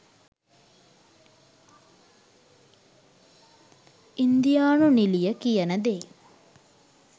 ඉන්දියානු නිළිය කියන දේ